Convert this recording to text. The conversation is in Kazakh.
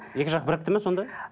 екі жақ бірікті ме сонда